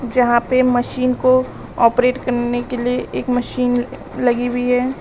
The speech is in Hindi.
जहां पे मशीन को ऑपरेट करने के लिए एक मशीन लगी हुई है।